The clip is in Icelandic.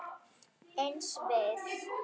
Eins við